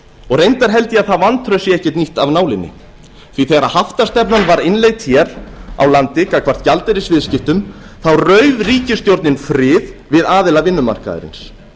og reyndar held ég að það vantraust sé ekkert nýtt af nálinni því að þegar haftastefnan var innleidd hér á landi gagnvart gjaldeyrisviðskiptum rauf ríkisstjórnin frið við aðila vinnumarkaðarins